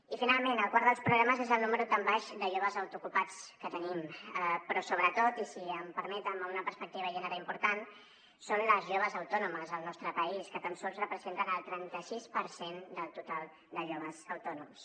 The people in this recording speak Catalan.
i finalment el quart dels problemes és el número tan baix de joves autoocupats que tenim però sobretot i si m’ho permeten amb una perspectiva de gènere important són les joves autònomes al nostre país que tan sols representen el trenta sis per cent del total de joves autònoms